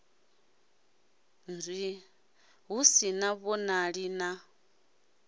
nzwii hu sa vhonali na